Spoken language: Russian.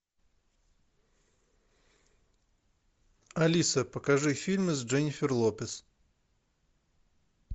алиса покажи фильмы с дженнифер лопес